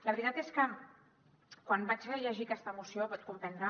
la veritat és que quan vaig rellegir aquesta moció pot comprendre